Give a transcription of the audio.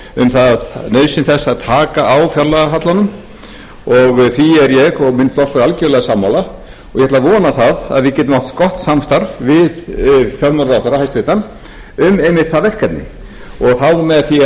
um nauðsyn þess að taka á fjárlagahallanum og því er ég og minn flokkur algerlega sammála og ég ætla að vona að við getum átt gott samstarf við fjármálaráðherra hæstvirtur um einmitt það verkefni og þá með því